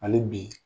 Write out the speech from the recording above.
Hali bi